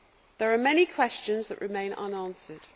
There are many questions that remain unanswered.